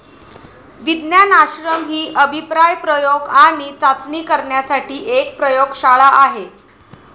विज्ञान आश्रम ही अभिप्राय प्रयोग आणि चाचणी करण्यासाठी एक प्रयोगशाळा आहे.